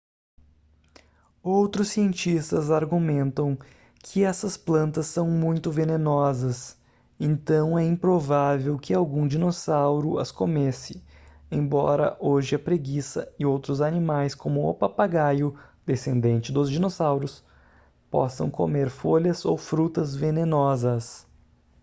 outros cientistas argumentam que essas plantas são muito venenosas então é improvável que algum dinossauro as comesse embora hoje a preguiça e outros animais como o papagaio descendente dos dinossauros possam comer folhas ou frutas venenosas